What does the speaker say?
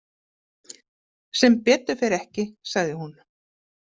Sem betur fer ekki, sagði hún.